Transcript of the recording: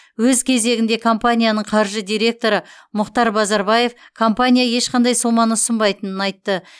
өз кезегінде компанияның қаржы директоры мұхтар базарбаев компания ешқандай соманы ұсынбайтынын айтты